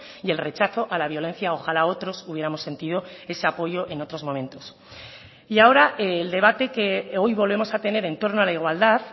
y el rechazo a la violencia ojalá otros hubiéramos sentido ese apoyo en otros momentos y ahora el debate que hoy volvemos a tener en torno a la igualdad